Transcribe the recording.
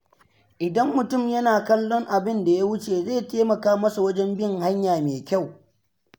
Idan mutum yana kallon abinda ya wuce zai taimaka masa wajen bin hanya mai kyau.